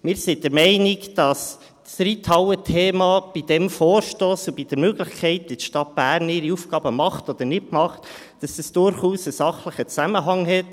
Wir sind der Meinung, dass das Reithallen-Thema mit diesem Vorstoss und mit der Frage, wie die Stadt Bern ihre Aufgaben macht oder nicht macht, durchaus einen Zusammenhang hat.